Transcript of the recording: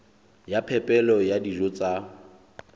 ya phepelo ya dijo tsa